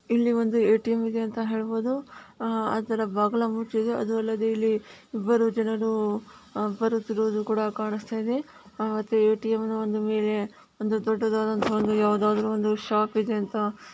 ಇಲ್ಲಿ ಒಂದು ಎ.ಟಿ.ಮ್ ಇದೆ ಅಂತ ಹೇಳ್ಬೋದು ಆ ಅದ್ರ ಬಾಗಲ ಮುಚ್ಚಿದೆ ಅದು ಅಲ್ಲದೆ ಇಲ್ಲಿ ಇಬ್ಬರು ಜನರು ಬರುತ್ತಿರುವುದು ಕೂಡ ಕಾಣಸ್ತ ಇದೆ ಎ.ಟಿ.ಮ್ ನ ಒಂದು ಮೇಲೆ ಒಂದು ದೊಡ್ದುದಾಂತಹ ಯಾವಾದದಾರು ಒಂದು ಶಾಪ್ ಇದೆ ಅಂತ ಹೇಳಬಹುದು.